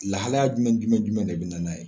Lahalaya jumɛn jumɛn jumɛn de bina n'a ye ?